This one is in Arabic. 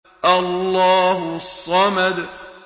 اللَّهُ الصَّمَدُ